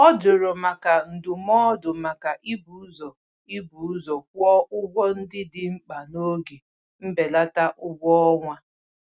Ọ jụrụ maka ndụmọdụ maka ibu ụzọ ibu ụzọ kwụ ụgwọ ndị dị mkpa n'oge mbelata ụgwọọnwa.